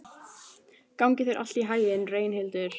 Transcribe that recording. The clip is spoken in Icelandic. Gangi þér allt í haginn, Reynhildur.